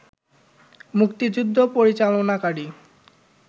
মুক্তিযুদ্ধ পরিচালনাকারী